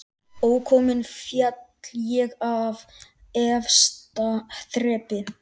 Ókominn féll ég af efsta þrepi